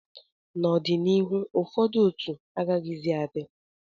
n'ọdịnihu, ụfọdụ otu agaghịzi adị